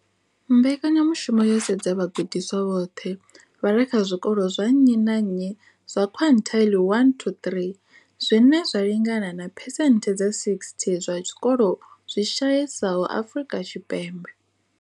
Mbekanya mushumo yo sedza vhagudiswa vhoṱhe vha re kha zwikolo zwa nnyi na nnyi zwa quintile 1-3, zwine zwa lingana na phesenthe dza 60 ya zwikolo zwi shayesaho Afrika Tshipembe.